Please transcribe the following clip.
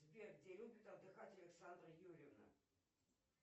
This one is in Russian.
сбер где любит отдыхать александра юрьевна